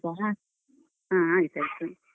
ಹ್ಮ. ಆಯ್ತ್ ಆಯ್ತು.